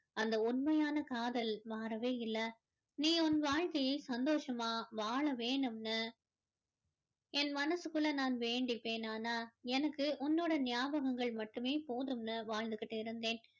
அந்த உண்மையான காதல் மாறவே இல்லை நீ உன் வாழ்கையை சந்தோஷமா வாழ வேணும்னு என மனசுக்குள்ள நான் வேண்டிப்பேன் ஆனா எனக்கு உன்னுடைய ஞாபகங்கள் மட்டுமே போதும்னு வாழ்ந்துகிட்டு கொண்டிருந்தேன்